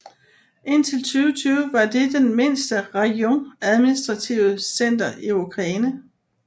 Indtil 2020 var det det den mindste rajon administrative center i Ukraine